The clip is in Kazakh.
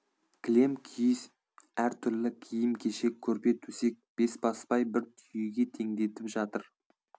кілем киіз әр түрлі киім кешек көрпе төсек бесбасбай бір түйеге теңдетіп жатыр